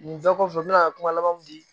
Nin bɛɛ kɔfɛ n be na kuma laban mu di